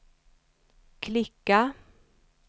klicka